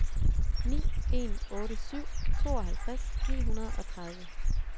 ni en otte syv tooghalvtreds ni hundrede og tredive